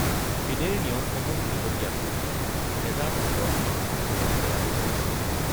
ফিডেৰ নিয়মসমূহ শেহতীয়াকৈ ২০১৮ চনত সংশোধন কৰা হৈছিল।